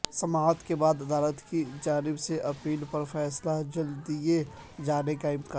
سماعت کے بعد عدالت کی جانب سے اپیل پر فیصلہ جلد دئیے جانے کاامکان ہے